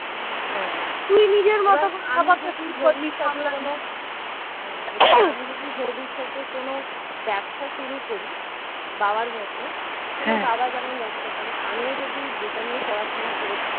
আমি যদি ভবিষ্যতে কোন ব্যবসা শুরু করি বাবার মত বাবা যেমন ব্যবসা করে আমিও যদি যেটা নিয়ে পড়াশোনা করেছি